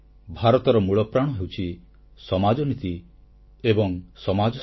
ଭାରତର ମୂଳପ୍ରାଣ ହେଉଛି ସମାଜନୀତି ଓ ସମାଜଶକ୍ତି